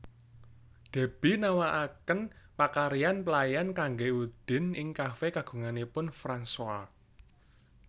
Deby nawakaken pakaryan pelayan kanggé Udin ing kafé kagunganipun Fransoa